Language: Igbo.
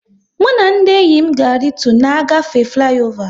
Mụ na ndị enyi m ga e ritu na-agafe fliova